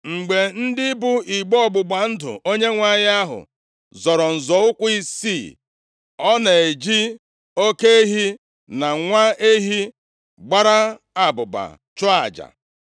Mgbe ndị bu igbe ọgbụgba ndụ Onyenwe anyị ahụ zọrọ nzọ ụkwụ isii; ọ na-eji oke ehi na nwa ehi gbara abụba chụọ aja.